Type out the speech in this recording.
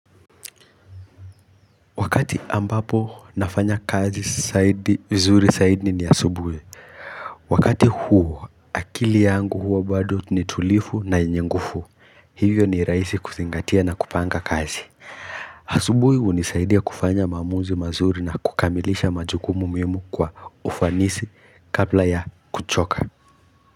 Wakati ambapo nafanya kazi zaidi, vizuri zaidi ni asubuhi. Wakati huo, akili yangu hua bado ni tulivu na yenye nguvu. Hivyo ni rahisi kuzingatia na kupanga kazi. Asubuhi hunisaidia kufanya maamuzi mazuri na kukamilisha majukumu mihimu kwa ufanisi kabla ya kuchoka.